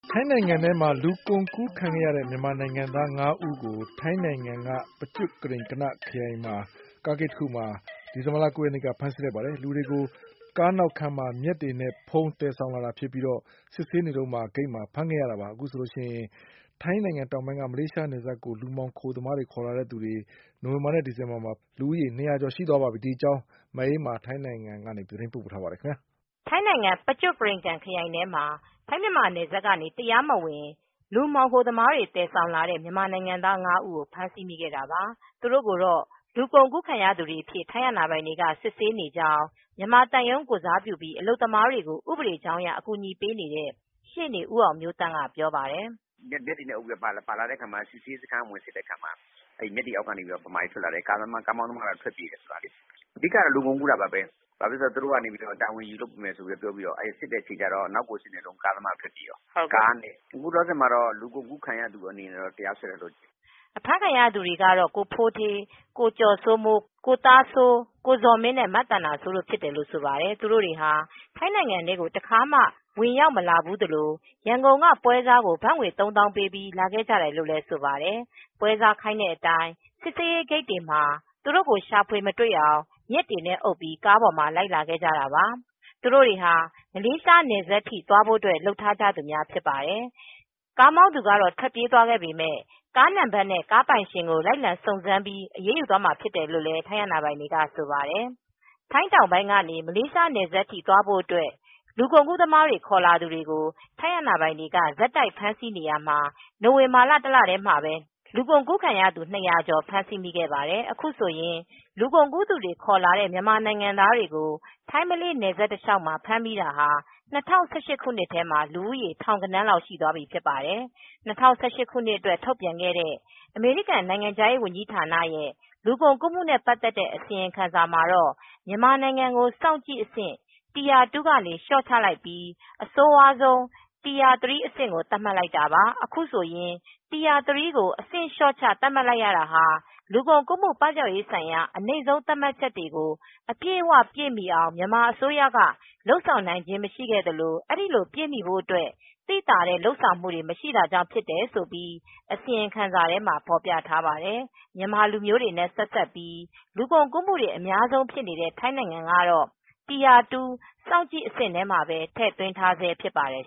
ထိုင်းနိုင်ငံသို့လူကုန်ကူးခံရတဲ့ မြန်မာနိုင်ငံသား ၅ဦးကို ထိုင်းနိုင်ငံ ပကျွတ်ကရိန်ကနခရိုင် ထဲက Sing Khon ဂိတ်မှာ ဒီဇင်ဘာလ ၉ရက်နေက ဖမ်းဆီးလိုက်ပါတယ်။ လူတွေကို ကားနောက်ခန်းမှာမြက်တွေနဲ့ဖုံးပြီး သယ်ဆောင်လာတာဖြစ်ပြီး စစ်ဆေးဂိတ်မှာ စစ်ဆေး ချိန်မှာ ဖမ်းဆီးခံရတာဖြစ်ပါတယ်။ အခုဆိုရင် ထိုင်းတောင်ပိုင်းကနေ မလေးရှား နယ်စပ်ကို လူမှောင်ခိုသမားတွေခေါ်လာတဲ့ သူတွေ ဖမ်းမိတာ နိုဝင်ဘာနဲ့ ဒီဇင်ဘာလ ထဲမှာလူဦးရေ ၂၀၀ကျော်ရှိသွာပြီဖြစ်ပါတယ်။ ထိုင်းအခြေစိုက် VOA သတင်းထောက် မအေးအေးမာက သတင်းပေးပို့ ထားပါတယ်။ ထိုင်းနိုင်ငံ ပကျွတ်ကရိန်ကန်ခရိုင် ထဲမှာ ထိုင်းမြန်မာနယ်စပ်ကနေ တရားမဝင် လူမှောင်ခိုသမားတွေ သယ်ဆောင်လာတဲ့ မြန်မာနိုင်ငံသား၅ဦးကို ဖမ်းမိတာပါ။ သူတို့ ကိုတော့ လူကုန်ကူးခံရသူတွေအဖြစ် ထိုင်းအာဏာပိုင်တွေက စစ်ဆေးနေကြောင်း မြန်မာသံရုံးကိုယ်စားပြုပြီးမြန်မာအလုပ်သမားတွေကိုဥပဒေကြောင်းအရ အကူညီ ပေးနေတဲ့ ရှေနေဦးအောင်မျိုးသန့် ကပြောပါတယ်။ "မြက်တွေနဲ့ အုပ်လာတော့ စစ်ဆေးရေးဂိတ်မှာစစ်တော့ မြန်မာတွေဖမ်းခံရတာပါပဲ ကားမောင်းသမားကတော့ ထွက်ပြေးသွားတယ်။ အဓိက ကတော့ လူကုန်ကူးတာပါပဲ သူတို့က တာဝန်ယူမယ်ဆိုပြီး ခေါ်လာတာ နောက်တော့ ကားသမားက ထွက်ပြေး သွားတယ် အခုတော့ ဖမ်းခံရသူတွေကို လူကုန်ကူူခံရသူတွေအဖြစ် ထိုင်း အာဏာပိုင်တွေက စစ်ဆေးနေပါတယ်" အဖမ်းခံရသူတွေကတော့ ကိုဖိုးဌေး၊ ကိုကျော်စိုးမိုး၊ ကိုသားစိုး၊ ကိုဇော်မင်းနှင့် မသန္တာစိုးတို့ ဖြစ်တယ်လို့ ဆိုပါတယ်။ သူတို့တွေဟာ ထိုင်းနိုင်ငံထဲကို တခါမှ ဝင်ရောက်မလာဖူးသလို ရန်ကုန်ကပွဲစားကို ဘတ်ငွေ ၃သောင်းပေးပြီး လာခဲ့ ကြရတယ်လို့ ဆိုပါတယ်။ ပွဲစားခိုင်းတဲ့အတိုင်း စစ်ဆေးရေးဂိတ်တွေက မတွေ့အောင် မြက်တွေနဲ့ အုပ်ပြီး ကားပေါ်မှာလိုက်လာခဲ့ကြတာပါ။ သူတို့ တွေဟာ မလေးရှားနယ်စပ်ထိ သွားဖို့လုပ်ထားကြသူများဖြစ်ပါတယ်။ ကားမောင်းသူထွက်ပြေးသွားပေမယ့် ကားနံပါတ်နဲ့ ကားပိုင်ရှင်ကို လိုက်လံစုံစမ်းပြီး အရေးယူသွားမှာဖြစ်တယ်လို့ ထိုင်းအာဏာပိုင်တွေက ဆိုပါတယ်။ ထိုင်းတောင်ပိုင်းကနေ မလေးနယ်စပ်ထိ သွားဖို့ အတွက် လူကုန်ကူး သမားတွေ ခေါ်လာသူတွေကို ထိုင်းအာဏာပိုင်တွေက ဆက်တိုက်ဖမ်းဆီးနေရာမှာ နိုဝင်ဘာလ ထဲမှာပဲ ၂၀၀ကျော် ဖမ်းမိခဲ့တာပါ။ အခုဆိုရင် လူကုန်ကူးသူတွေ ခေါ်လာတဲ့ မြန်မာ နိုင်ငံသားတွေကိုထိုင်းမလေးနယ်စပ် တလျောက်မှာဖမ်းမိတာဟာ ၂၀၁၈ခုနှစ်ထဲမှာ လူဦးရေထောင်ဂဏန်းလောက် ရှိသွားပြီဖြစ်ပါတယ် ။ ၂၀၁၈ခုနှစ်အတွက်ထုတ်ပြန်ခဲ့တဲ့ အမေရိကန်နိုင်ငံခြားရေးဌာနရဲ လူကုန်ကူးမူနဲ့ ပတ်သက်တဲ့ အစီရင်ခံစာမှာတော့ မြန်မာနိုင်ငံကို စောင့်ကြည့်အဆင့် tire 2 က လျော့ချလိုက်ပြီး အဆိုးဝါးဆုံး TIRE 3 အဆင့်ကိုသတ်မှတ်လိုက်တာပါ။ အခုလို Tier 3 ကို အဆင့်လျှော့ချ သတ်မှတ်လိုက်ရတာဟာ လူကုန်ကူးမှု ပပျောက်ရေးဆိုင်ရာ အနိမ့်ဆုံး သတ်မှတ်ချက်တွေကို အပြည့်အဝပြည့်မီအောင် မြန်မာအစိုးရက လုပ်ဆောင်နိုင်ခြင်း မရှိသလို အဲဒီလိုပြည့်မီဖို့အတွက် သိသာတဲ့ လုပ်ဆောင်မှုတွေ မရှိ တာကြောင့် ဖြစ်တယ်လို့ အစီရင်ခံစာထဲမှာ ဖော်ပြထားပါတယ်။ မြန်မာလူမျိုးတွေ နဲ့ ဆက်စပ်ပြီး လူကုန်ကူးမူအများဆုံးဖြစ်နေတဲ့ ထိုင်းနိုငံကတော့ tire 2 စောင့်ကြည့်အဆင့်ထဲမှာပဲ ထည့်သွင်းထားဆဲဖြစ်ပါတယ်